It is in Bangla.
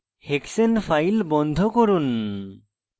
hexane file বন্ধ করুন